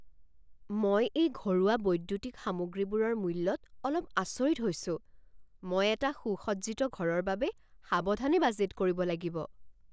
মই এই ঘৰুৱা বৈদ্যুতিক সামগ্ৰীবোৰৰ মূল্যত অলপ আচৰিত হৈছোঁ, মই এটা সুসজ্জিত ঘৰৰ বাবে সাৱধানে বাজেট কৰিব লাগিব।